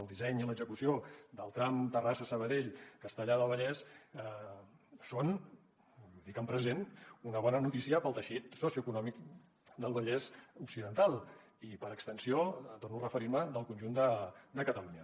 el disseny i l’execució del tram terrassa sabadell castellar del vallès són ho dic en present una bona notícia per al teixit socioeconòmic del vallès occidental i per extensió torno a referir m’hi del conjunt de catalunya